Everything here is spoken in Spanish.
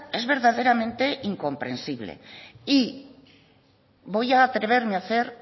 es verdaderamente incomprensible y voy a atreverme a hacer